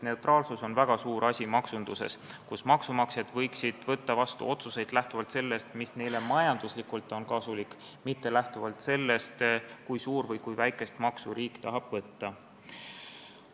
Neutraalsus maksunduses on väga suur asi, maksumaksjad võiksid võtta otsuseid vastu lähtuvalt sellest, mis on neile majanduslikult kasulik, mitte lähtuvalt sellest, kui suurt või kui väikest maksu riik tahab võtta.